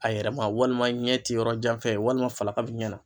A yɛrɛ ma walima ɲɛ ti yɔrɔ jan fɛ walima falaka bi ɲɛ na.